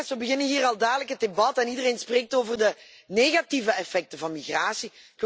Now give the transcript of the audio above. We beginnen hier al dadelijk het debat en iedereen spreekt over de negatieve effecten van migratie.